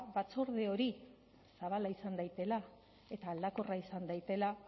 batzorde hori zabala izan daitela eta aldakorra izan daitela